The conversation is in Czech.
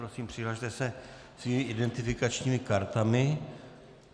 Prosím, přihlaste se svými identifikačními kartami.